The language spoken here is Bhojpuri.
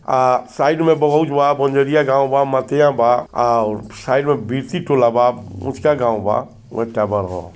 आ साइड मे बहुज बा बंजरिया गाव बा मठिया बा। आ साइड मे बिरती टोला बा उचका गाव बा